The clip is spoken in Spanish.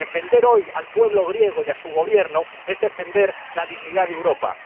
Defender hoy al pueblo griego y a su Gobierno es defender la dignidad de Europa.